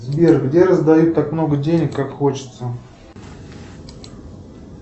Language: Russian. сбер где раздают так много денег как хочется